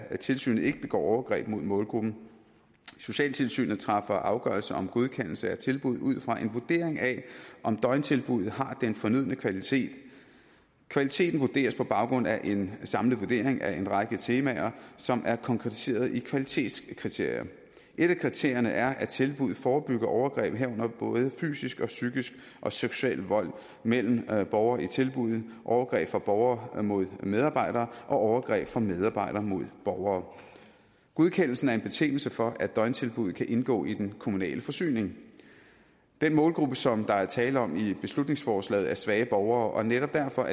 tilsynet ikke begår overgreb mod målgruppen socialtilsynet træffer afgørelse om godkendelse af tilbud ud fra en vurdering af om døgntilbuddet har den fornødne kvalitet kvaliteten vurderes på baggrund af en samlet vurdering af en række temaer som er konkretiseret i kvalitetskriterier et af kriterierne er at tilbuddet forebygger overgreb herunder både fysisk og psykisk og seksuel vold mellem borgere i tilbuddet overgreb fra borgere mod medarbejdere og overgreb fra medarbejdere mod borgere godkendelsen er en betingelse for at døgntilbuddet kan indgå i den kommunale forsyning den målgruppe som der er tale om i beslutningsforslaget er svage borgere og netop derfor